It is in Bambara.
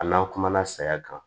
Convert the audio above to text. A n'an kumana saya kan